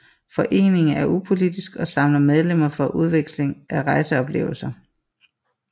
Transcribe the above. Foreningen er upolitisk og samler medlemmerne for udveksling af rejseoplevelser